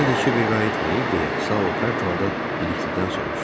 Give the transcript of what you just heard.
Hələ də Kiber qayıtmayıb, deyə Sao pərt halda biliklidən soruşdu.